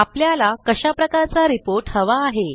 आपल्याला कशाप्रकारचा रिपोर्ट हवा आहे